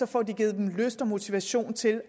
får givet dem lyst og motivation til